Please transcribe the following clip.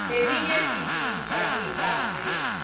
leminye sitijabulisa ngayo